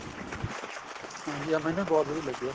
ਹਾਂਜੀ ਹਾਂ ਮੈਨੂੰ ਵੀ ਬਹੁਤ ਵਧੀਆ ਲੱਗਿਆ